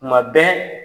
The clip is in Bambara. Kuma bɛɛ